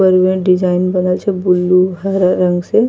ऊपर मे डिजाइन बनल छै ब्लू हरा रंग से।